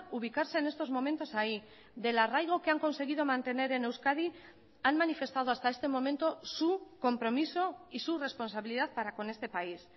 ubicarse en estos momentos ahí del arraigo que han conseguido mantener en euskadi han manifestado hasta este momento su compromiso y su responsabilidad para con este país